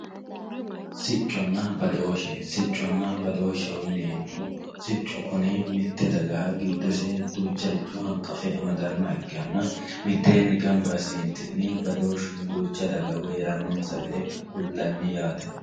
Siconna badoshe siconna badosheho yinemohu sicu kuni mitte dagaha gidosse ducharicho hanqafe amadaniha ikanna mitteni ganba asinitinni badoshuno ducha daga woyi herononsa gede kulanni yatte